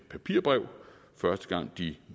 papirbrev første gang de